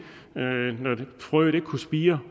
frøet ikke kunne spire